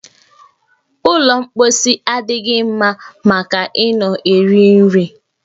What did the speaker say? Ụlọ mposi adịghị mma maka ị nọ eri nri